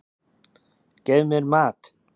Gef mér mat!